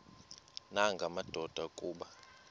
nanga madoda kuba